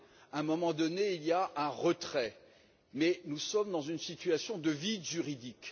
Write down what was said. À un moment donné, il y a un retrait, mais nous sommes dans une situation de vide juridique.